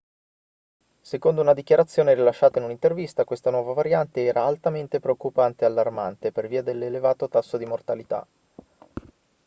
secondo una dichiarazione rilasciata in un'intervista questa nuova variante era altamente preoccupante e allarmante per via dell'elevato tasso di mortalità